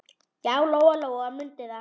Já, Lóa-Lóa mundi það.